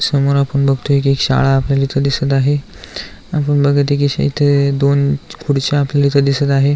समोर आपण बघतोय की एक शाळा आपल्याला इथ दिसत आहे आपण बघत आहे की इथ दोन खुर्च्या आपल्याला इथ दिसत आहे.